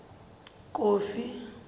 kofi